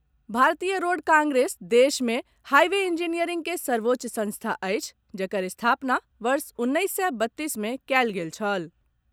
भारतीय road congress देश मे हाईवे इंजीनियरिंग के सर्वोच्च संस्था अछि जकर स्थापना वर्ष उन्नैस सय बत्तीस मे कयल गेल छल।